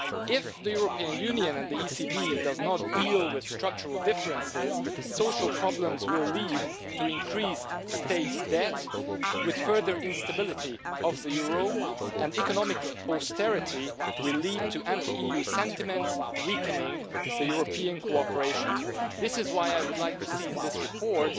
If the European Union and the European Central Bank do not deal with structural differences, social problems will lead to increased state debt with further instability of the euro and economic austerity will lead to anti EU sentiment, weakening European cooperation. This is why I would like to see in this report